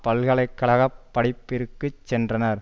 பல்கலை கழக படிப்பிற்கு சென்றனர்